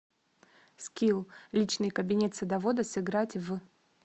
скилл личный кабинет садовода сыграть в